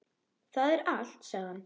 Það er allt, sagði hann.